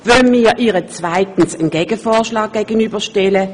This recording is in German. Wollen wir ihr zweitens einen Gegenvorschlag gegenüberstellen?